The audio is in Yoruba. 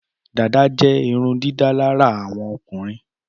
Dàdá jé irundídálárà àwọn ọkùnrin